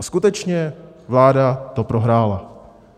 A skutečně, vláda to prohrála.